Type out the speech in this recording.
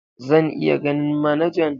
Zan iya ganin manajan?